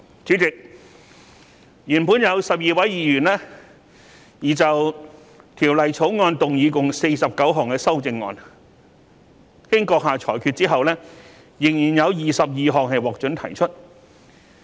主席，原本有12位議員擬就《條例草案》動議共49項修正案，經閣下裁決之後，仍然有22項獲准提出。